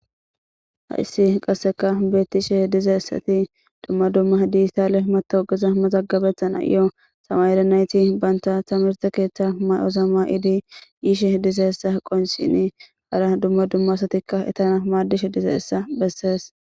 Haissi qasseka bettishe dizeessati dumma dumma diistale mata ogeza maxagabethan ayo samayerenayti banta tamirte keeththa may'o zama'iidi yiishe dizeessa qonsini hara dumma dumma asatikka etana maaddishe dize essa bessees.